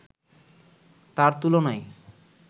তার তুলনায়